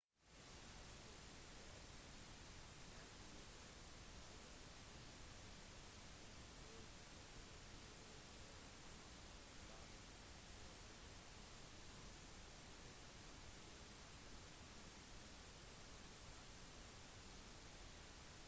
disse skjerpene har blitt observert rundt hele månen og de ser ut til å være lite forvitret noe som viser til at de geologiske hendelsene de kommer fra er ganske nylige